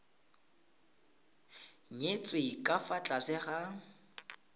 nyetswe ka fa tlase ga